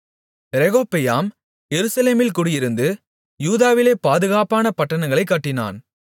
ரெகொபெயாம் எருசலேமில் குடியிருந்து யூதாவிலே பாதுகாப்பான பட்டணங்களைக் கட்டினான்